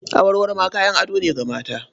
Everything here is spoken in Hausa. Awarwaro ma kayan ado ne na mata.